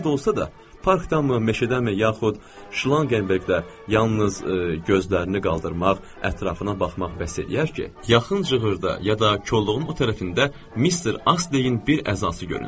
Harda olsa da, parkdanmı, meşədənmi yaxud şlanqverqdən, yalnız gözlərini qaldırmaq, ətrafına baxmaq bəs eləyər ki, yaxın cığırda ya da kolluğun o tərəfində Mister Astleyin bir əzası görünsün.